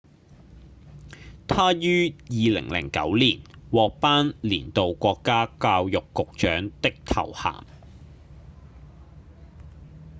她於2009年獲頒年度國家教育局長的頭銜